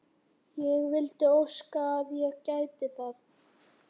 Ég vildi óska að ég gæti það.